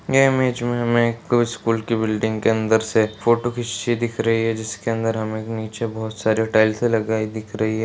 ये इमेज मे हमें एक स्कूल के बिल्डिंग के अंदर से फोटू खिच्चीं दिख रही है जिसके अंदर हमे एक नीचे बोहोत सारे टाइल्से लगाई दिख रही है।